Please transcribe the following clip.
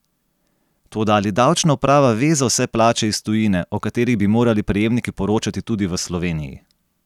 Toda ali davčna uprava ve za vse plače iz tujine, o katerih bi morali prejemniki poročati tudi v Sloveniji?